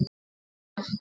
Sí og æ.